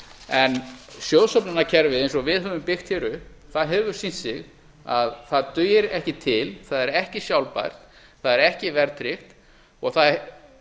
en sjóðsöfnunarkerfi eins og við höfum byggt hér upp það hefur sýnt sig að það dugir ekki til það er ekki sjálfbært það er ekki verðtryggt og